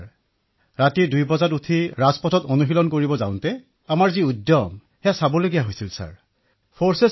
যেতিয়া আমি পুৱা ২ বজাত উঠি ৰাজপথত পেৰেড কৰিবলৈ গৈছিলো তেতিয়া আমাৰ উৎসাহ চাবলগীয়া বিধৰ হৈছিল